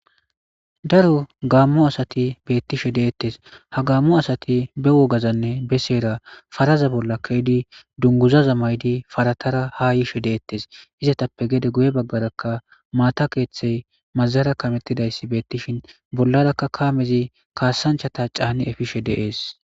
daro gaammo asati beettishe de'ettes ha gaammo asati be wogazanne beseera faraza bolla keeydi dunguzaza maydi paratara ha yiishe de'ettes izatappe gede guye baggarakka maata keeththey mazara kamettidayssi beettishin bollarakka kaamezi kaasanchata caani efishe de'ees